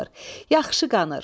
Yaxşı qanır.